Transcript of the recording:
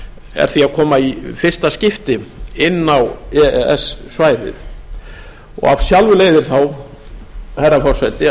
er því að koma í fyrsta skipti inn á e e s svæðið af sjálfu leiðir þá herra forseti